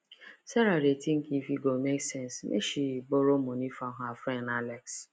sarah dey think if e go make sense make she borrow money from her friend alex